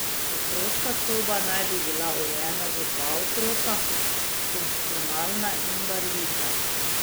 Otroška soba naj bi bila urejena za dva otroka, funkcionalna in barvita.